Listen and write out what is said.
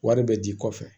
Wari bɛ di kɔfɛ